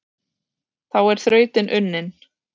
Þá er þrautin unnin,